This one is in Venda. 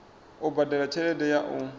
u badela tshelede ya u